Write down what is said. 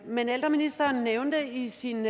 men ældreministeren nævnte i sin